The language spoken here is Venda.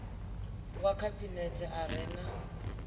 wa khabinethe a re na